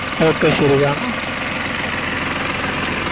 Okay ശരി കാണാം